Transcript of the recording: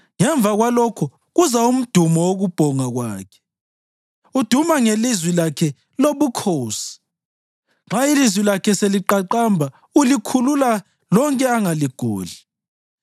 Ngemva kwalokho kuza umdumo wokubhonga kwakhe; uduma ngelizwi lakhe lobukhosi. Nxa ilizwi lakhe seliqaqamba ulikhulula lonke angaligodli.